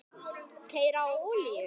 Keyra á olíu?